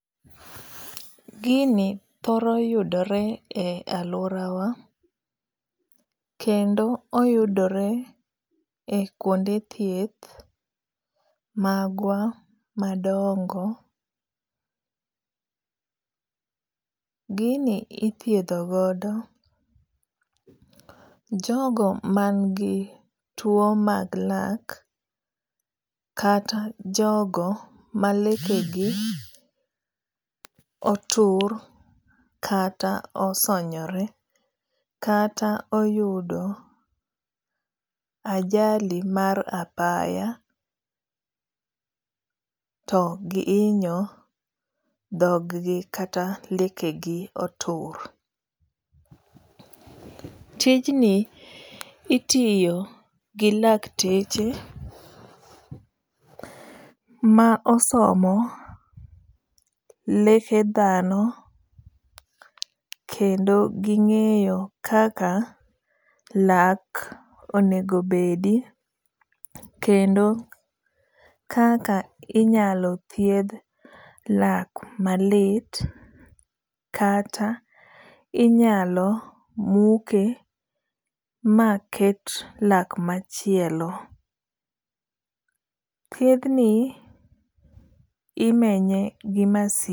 Gini thoro yudore e aluora wa. Kendo oyudore e kuonde thieth magwa madongo. Gini ithiedho godo jogo man gi tuo mag lak, kata jogo ma leke gi otur, kata osonyore kata, oyudo ajali mar apaya to gihinyo dhog gi kata leke gi otur. Tijni itiyo gi lakteche ma osomo leke dhano kendo ging'eyo kaka lak onego bedi. Kendo kaka inyalo thiedh lak malit, kata inyalo muke ma ket lak machielo. Thiedh ni imenye gi masin.